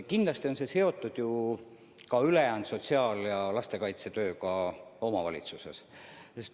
Kindlasti on see seotud ka ülejäänud sotsiaal- ja lastekaitsetööga omavalitsuses.